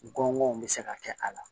N gɔbɔn bɛ se ka kɛ a la